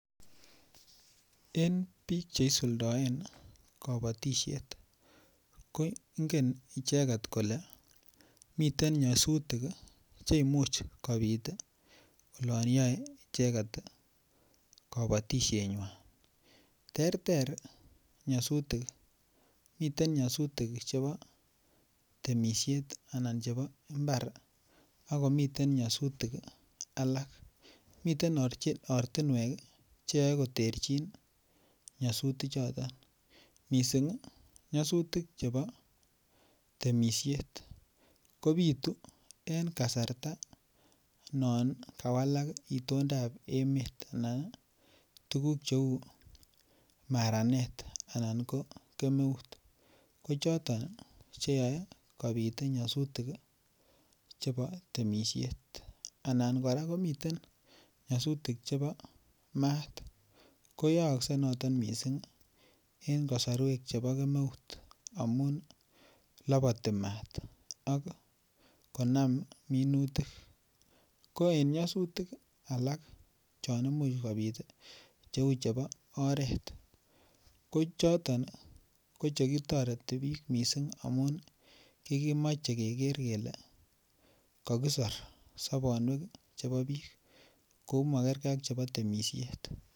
En bik Che isuldoen kabatisiet ko ingen icheget kole miten nyasutik Che Imuch kobit olon yoe icheget kabatisienywan terter nyosutik miten nyasutik chebo temisiet anan chebo mbar ak komiten nyasutik alak miten ortinwek Che yoe koterchin nyasutichoto mising nyasutik chebo temisiet kobitu en kasarta non kawalak itondap emet anan tuguk cheu maranet anan ko kemeut ko choton Che yaei kobit nyasutik chebo temisiet anan kora komiten nyasutik chebo maat ko yaakse noton mising en kasarwek chebo kemeut amun laboti maat ak konam minutik ko en nyasutik alak chon Imuch kobit Cheu chebo oret ko choton ko che toreti bik mising amun kimoche keger kele kakisor sobonwekab bik ko makergei ak chebo temisiet